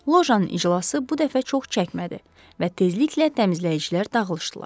Lojanın iclası bu dəfə çox çəkmədi və tezliklə təmizləyicilər dağılışdılar.